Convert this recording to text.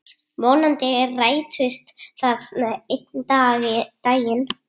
Vonandi rætist það einn daginn.